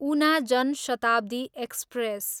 Una Jan Shatabdi express